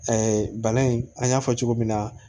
bana in an y'a fɔ cogo min na